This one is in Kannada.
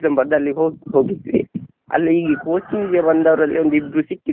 ಬರ್ದಲ್ಲಿ ಹೋಗ್~ ಹೋಗಿದ್ವಿ ಅಲ್ಲಿ ಈ coaching ಗೆ ಬಂದವರಲ್ಲಿ ಒಂದಿಬ್ರು ಸಿಕ್ಕಿದ್ರು.